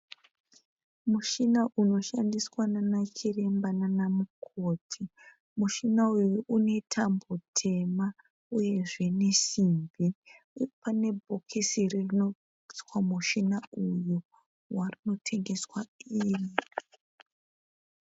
Mushina unoshandiswa nanachiremba nanamukoti. Mushina uyu une tambo tema uyezve nesimbi. Pane bhokisi rinoiswa mushina uyu warinotengeswa iri.